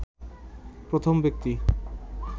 প্রথম ব্যক্তি